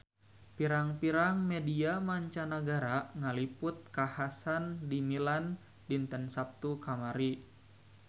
Pirang-pirang media mancanagara ngaliput kakhasan di Milan dinten Saptu kamari